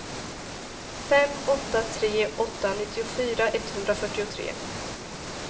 fem åtta tre åtta nittiofyra etthundrafyrtiotre